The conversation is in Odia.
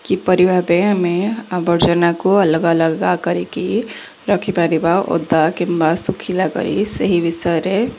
କିପରି ଭାବେ ଆମେ ଆବର୍ଜନାକୁ ଅଲଗା ଅଲଗା କରିକି ରଖିପାରିବା ଓଦା କିମ୍ୱା ଶୁଖିଲା କରି ସେହି ବିଷୟରେ।